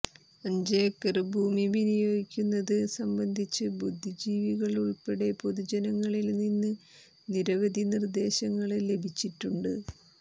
അഞ്ചേക്കര് ഭൂമി വിനിയോഗിക്കുന്നത് സംബന്ധിച്ച് ബുദ്ധിജീവികള് ഉള്പ്പടെ പൊതുജനങ്ങളില്നിന്ന് നിരവധി നിര്ദേശങ്ങള് ലഭിച്ചിട്ടുണ്ട്